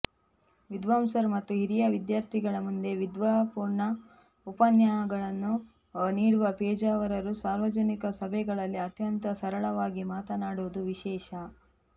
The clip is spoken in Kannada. ವಿದ್ವಾಂಸರು ಮತ್ತು ಹಿರಿಯ ವಿದ್ಯಾರ್ಥಿಗಳ ಮುಂದೆ ವಿದ್ವತ್ಪೂರ್ಣ ಉಪಾಖ್ಯಾನಗಳನ್ನು ನೀಡುವ ಪೇಜಾವರರು ಸಾರ್ವಜನಿಕ ಸಭೆಗಳಲ್ಲಿಅತ್ಯಂತ ಸರಳವಾಗಿ ಮಾತನಾಡುವುದು ವಿಶೇಷ